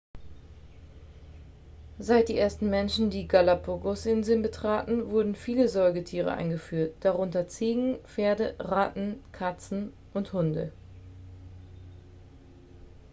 seit die ersten menschen die galapagosinseln betraten wurden viele säugetiere eingeführt darunter ziegen pferde ratten katzen und hunde